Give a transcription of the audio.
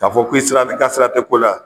K'a fɔ k'i sira i ka sira te ko la